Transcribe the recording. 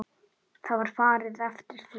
Það var farið eftir því.